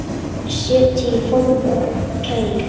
Setjið í form og kælið.